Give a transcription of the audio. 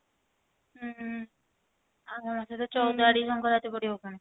ହୁଁ ଆଉ ହଁ ସେ ଚଉଦ ଆଡିକି ସଙ୍କ୍ରାନ୍ତି ପଡିବ ପୁଣି